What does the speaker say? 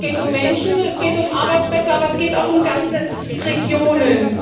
Es geht um Menschen, es geht um Arbeitsplätze, aber es geht auch um ganze Regionen.